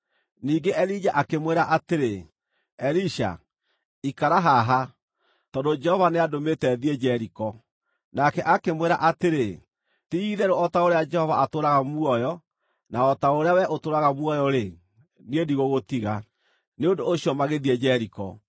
Ningĩ Elija akĩmwĩra atĩrĩ, “Elisha, ikara haha; tondũ Jehova nĩandũmĩte thiĩ Jeriko.” Nake akĩmwĩra atĩrĩ, “Ti-itherũ o ta ũrĩa Jehova atũũraga muoyo na o ta ũrĩa wee ũtũũraga muoyo-rĩ, niĩ ndigũgũtiga.” Nĩ ũndũ ũcio magĩthiĩ Jeriko.